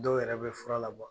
Dɔw yɛrɛ be fura la